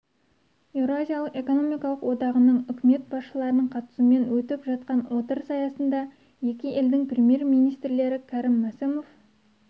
еуразиялық экономикалық одағының үкімет басшыларының қатысуымен өтіп жатқан отырыс аясында екі елдің премьер-министрлері кәрім мәсімов